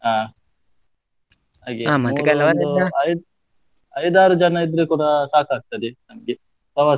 ಅಹ್ ಮತ್ತೆ ಹಾಗೆ ಐದ್, ಐದ್ ಆರು ಜನ ಇದ್ರೆ ಕೂಡ ಸಾಕಾಗ್ತದೆ, ನಮ್ಗೆ ಪ್ರವಾಸ.